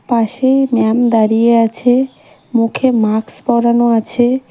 পাশে ম্যাম দাঁড়িয়ে আছে মুখে মাকস্ পড়ানো আছে।